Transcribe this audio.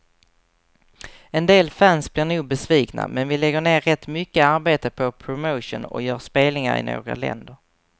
En del fans blir nog besvikna, men vi lägger ner rätt mycket arbete på promotion och gör spelningar i några länder.